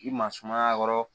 I ma sumaya kɔrɔ